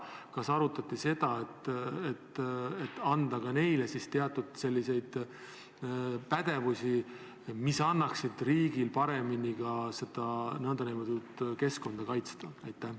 Kas arutati seda, et anda neile teatud pädevusi, mis võimaldaksid riigil paremini keskkonda kaitsta?